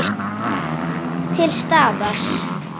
Til staðar.